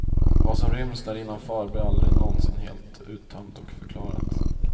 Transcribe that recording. Vad som ryms där innanför blir aldrig någonsin helt uttömt och förklarat.